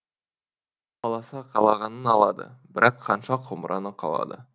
қаласа қалағанын алады бірақ ханша құмыраны қалады